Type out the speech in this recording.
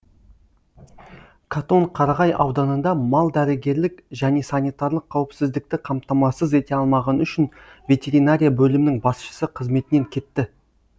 катон қарағай ауданында мал дәрігерлік және санитарлық қауіпсіздікті қамтамасыз ете алмағаны үшін ветеринария бөлімінің басшысы қызметінен кетті